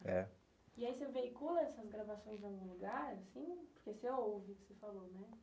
É. E aí você veicula essas gravações em algum lugar assim, porque você ouve o que você falou, né?